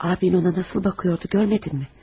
Abin ona necə baxırdı, görmədinmi?